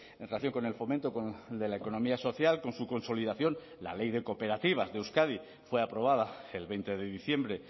en relación con el fomento de la economía social con su consolidación la ley de cooperativas de euskadi fue aprobada el veinte de diciembre